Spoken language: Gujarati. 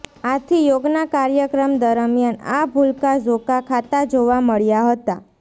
આથી યોગના કાર્યક્રમ દરમિયાન આ ભુલકા ઝોકા ખાતા જોવા મળ્યા હતા